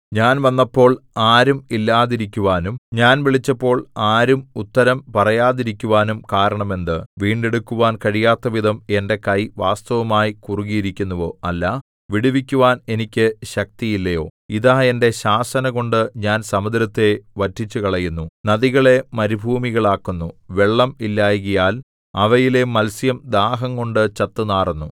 ഞാൻ വന്നപ്പോൾ ആരും ഇല്ലാതിരിക്കുവാനും ഞാൻ വിളിച്ചപ്പോൾ ആരും ഉത്തരം പറയാതിരിക്കുവാനും കാരണം എന്ത് വീണ്ടെടുക്കുവാൻ കഴിയാത്തവിധം എന്റെ കൈ വാസ്തവമായി കുറുകിയിരിക്കുന്നുവോ അല്ല വിടുവിക്കുവാൻ എനിക്ക് ശക്തിയില്ലയോ ഇതാ എന്റെ ശാസനകൊണ്ടു ഞാൻ സമുദ്രത്തെ വറ്റിച്ചുകളയുന്നു നദികളെ മരുഭൂമികളാക്കുന്നു വെള്ളം ഇല്ലായ്കയാൽ അവയിലെ മത്സ്യം ദാഹംകൊണ്ടു ചത്തുനാറുന്നു